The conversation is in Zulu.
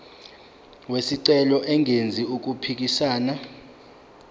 wesicelo engenzi okuphikisana